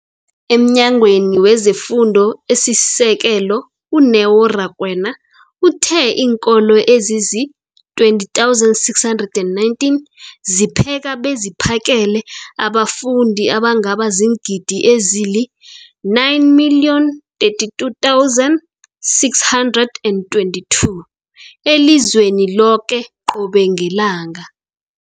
EmNyangweni wezeFundo esiSekelo, u-Neo Rakwena, uthe iinkolo ezizi-20 619 zipheka beziphakele abafundi abangaba ziingidi ezili-9 032 622 elizweni loke qobe ngelanga.